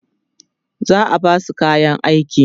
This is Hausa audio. za'a Basu kayan aiki